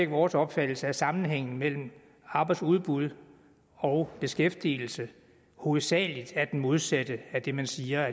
vores opfattelse at sammenhængen mellem arbejdsudbuddet og beskæftigelsen hovedsagelig er modsat af det man siger